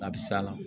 A bɛ s'a la